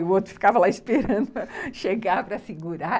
E o outro ficava lá esperando chegar para segurar.